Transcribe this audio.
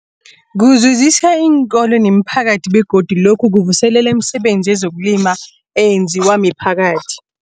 Kuzuzisa iinkolo nemiphakathi begodu lokhu kuvuselela imisebenzi yezokulima eyenziwa miphakathi.